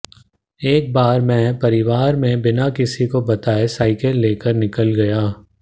एक बार मैं परिवार में बिना किसी को बताए साइकिल लेकर निकल गया